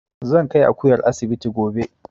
Zan kai Akuyar asibiti gobe